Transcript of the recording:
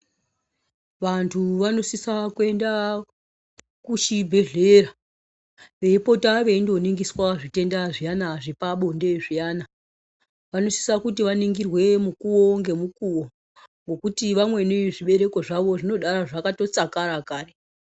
Vantu vanosisa kuenda kuchibhedhlera veipota veindoningiswa zvitenda zviya zvepabonde zviyana vanosisa kuti vaningirwe mukuwo ngemukowo ngokuti vamweni zvibereko zvawo zvinodaro zvakatotsakara kare.